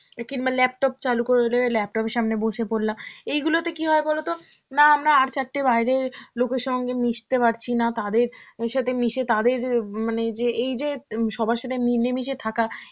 কিংবা laptop চালু করলে~ laptop এর সামনে বসে পরলাম. এইগুলোতে কি হয় বলতো, না আমরা আর চারটে বাইরের লোকের সঙ্গে মিশতে পারছি, না তাদের অ্যাঁ সাথে মিশে তাদের এর মানে এই যে উম সবার সাথে মিলিয়ে মিশিয়ে থাকা,